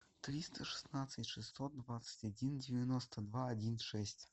триста шестнадцать шестьсот двадцать один девяносто два один шесть